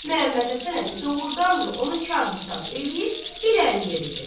Məhəmməd Həsən əmi doğurdan da onu kar hesab eləyib irəli yeridi.